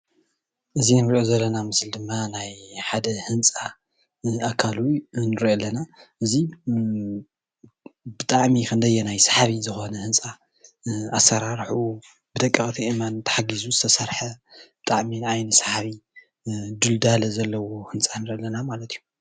እዚ ንሪኦ ዘለና ምስሊ ድማ ናይ ሓደ ህንፃ ኣካሉ ንሪኦ ኣለና ። እዙይ ብጣዕሚ ክንደየናይ ሰሓቢ ዝኾነ ህንፃ ኣሰራርሑኡ ብደቀቕቲ ኣእማን ተሓጊዙ ዝተሰርሐ ብጣዕሚ ንዓይኒ ሰሓቢ ድልዳለ ዘለዎ ህንፃ ንርኢ ኣለና ማለት እዩ፡፡